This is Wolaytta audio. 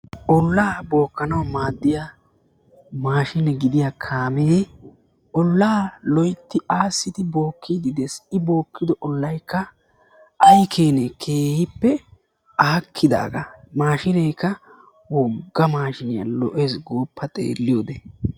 Ollaa bookkanawu maaddiyaa kaamee ollaa suure aassidi bookkidi dees i bookkido oollay ay keenee! keehippe aakkidaagaa. Maashshineekka woogga maashshiniyaa lo"ees gooppa xeelliyoode.